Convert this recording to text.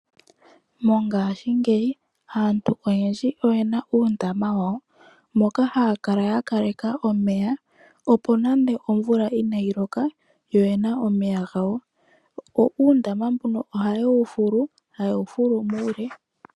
Mongashingeyi aantu oyendji oyena uundama mono haya kala ya tula omeya, opo nande omvula oya kala inayi loka nawa oyena omeya gawo. Uundama mbuno ohawu kala wa fulwa muule.